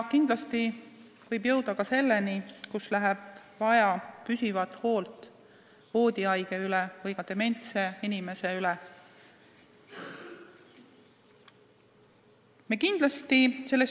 Kindlasti võib olukord muutuda ka selliseks, et läheb vaja püsivat hoolt voodihaige või ka dementse inimese eest hoolitsemisel.